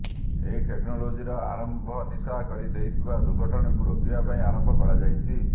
ଏହି ଟେକ୍ନୋଲୋଜିର ଆରମ୍ଭ ନିଶା କରି ହେଉଥିବା ର୍ଦୁଘଟଣାକୁ ରୋକିବା ପାଇଁ ଆରମ୍ଭ କରାଯାଇଛି